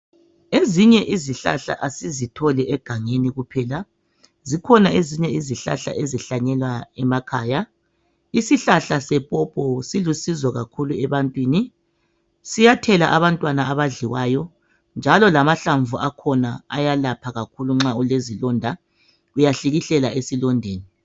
Ezinye izihlahla asizitholi egangeni kuphela zikhona ezinye izihlahla ezihlanyelwa emakhaya. Isihlahla sepopo silusizo kakhulu ebantwini, siyathela abantwana abadliwayo njalo amahlamvu akhona ayalapha nxa ulesilonda. Uyahlikihlela esilondeni.